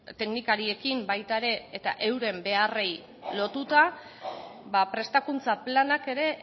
teknikariekin baita ere eta euren beharrei lotuta prestakuntza planak ere